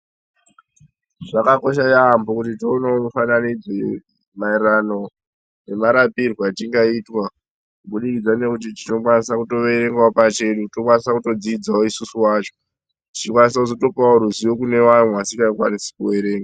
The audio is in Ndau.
Zvakakosha yaambo kuti tinoneo kubata redhiyo maererano nemarapirwo achingaitwa kubudikidza nekuti tinokwanisa kutoerengao pachedu tinkwanisao kutodzidzao isusu wacho tichikwanisa kuzotopawo ruzivo kune waya wamwe wasingakwanisi kuwerenga.